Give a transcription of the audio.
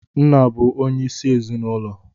Nna bụ onye isi ezinụlọ.